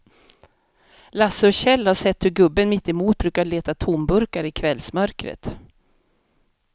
Lasse och Kjell har sett hur gubben mittemot brukar leta tomburkar i kvällsmörkret.